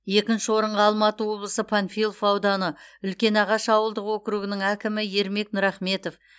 екінші орынға алматы облысы панфилов ауданы үлкенағаш ауылдық округінің әкімі ермек нұрахметов